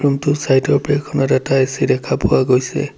ৰুমটোৰ চাইডৰ বেৰখনত এটা এ_চি দেখা পোৱা গৈছে।